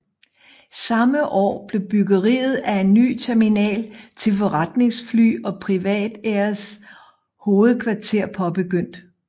Samme år blev byggeriet af en ny terminal til forretningsfly og PrivatAirs hovedkvarter påbegyndt